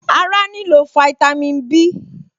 Ará nílò fáítámì Bí